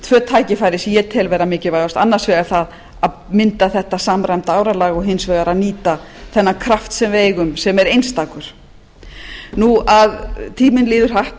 tvö tækifæri sem ég tel vera mikilvægust annars vegar það að mynda þetta samræmda áralag og hins vegar að nýta þennan kraft sem við eigum sem er einstakur tíminn líður hratt